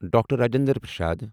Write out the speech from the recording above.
doctor Rajendra Prasad